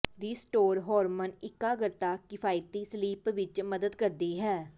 restore hormone ਇਕਾਗਰਤਾ ਕਿਫ਼ਾਇਤੀ sleep ਵਿੱਚ ਮਦਦ ਕਰਦੀ ਹੈ